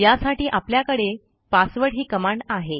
यासाठी आपल्याकडे passwdही कमांड आहे